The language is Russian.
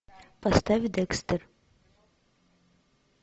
поставь декстер